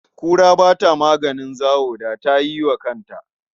Kura ba ta maganin zawo, da ta yi wa kanta.